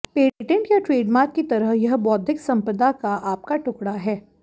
patent या trademark की तरह यह बौद्धिक संपदा का आपका टुकड़ा है